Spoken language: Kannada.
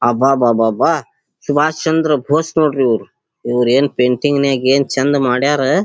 ಅಬ್ಬಬ್ಬಬ್ಬಾ ಸುಬಾಷಚಂದ್ರ ಬೋಸ್ ನೋಡ್ರಿ ಇವ್ರು ಏನ್ ಪೇಂಟಿಂಗ್ ನೆಗೆ ಏನ್ ಚಂದ್ ಮಾಡ್ಯಾರ್.